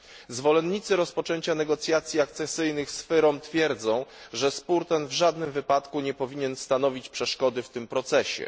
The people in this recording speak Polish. Zwolennicy rozpoczęcia negocjacji akcesyjnych z FYROM twierdzą, że spór ten w żadnym wypadku nie powinien stanowić przeszkody w tym procesie.